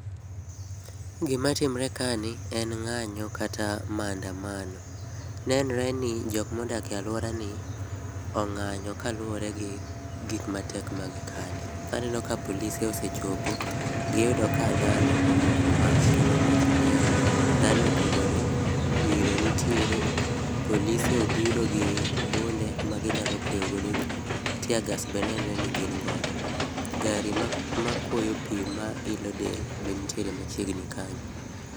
Gima timre kani en ng'anyo kata maandamano ,nenre ni jokma odak e aluorani ong'anyo kaluore gi gik matek ma gikale. Aneno ka polise osechopo, giyudo ka dhano omoko mach kendo mach liel, dhano ogudore ,iro nitiere, polise obiro gi bunde ma ginyalo kweyo go jii, teargas be nenre ni gin godo, gari makuoyo pii mailo del be nitiere machiegni kanyo